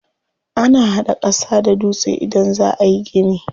Ana hada ƙasa da dutse idan za ayi gini.